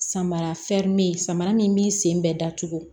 Samara fɛri me yen samara min b'i sen bɛ dacogo